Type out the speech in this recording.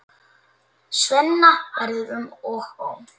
Svenna verður um og ó.